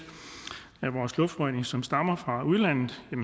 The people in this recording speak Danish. af vores luftforurening som stammer fra udlandet